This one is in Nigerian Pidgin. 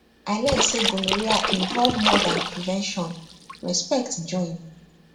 i learn say gonorrhea involve more than prevention respect join